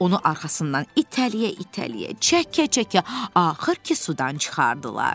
Onu arxasından itələyə-itələyə, çəkə-çəkə axır ki, sudan çıxartdılar.